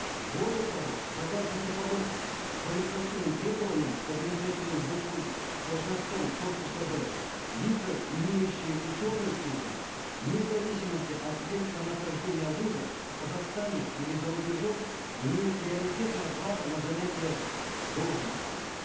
более того согласно типовым квалификационным требованиям к административным должностям корпуса б лица имеющие ученую степень вне зависимости от места нахождения вуза в казахстане или зарубежом имеют приоритетное право на занятие должности